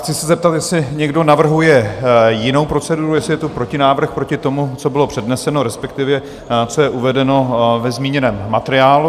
Chci se zeptat, jestli někdo navrhuje jinou proceduru, jestli je tu protinávrh proti tomu, co bylo předneseno, respektive, co je uvedeno ve zmíněném materiálu?